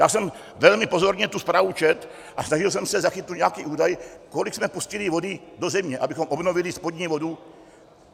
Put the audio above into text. Já jsem velmi pozorně tu zprávu četl a snažil jsem se zachytit nějaký údaj, kolik jsme pustili vody do země, abychom obnovili spodní vodu.